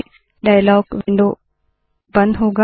dialogue window बंद होगा